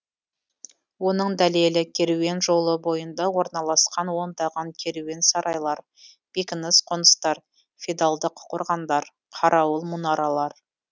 оның дәлелі керуен жолы бойында орналасқан ондаған керуен сарайлар бекініс қоныстар феодалдық қорғандар қарауыл мұнаралар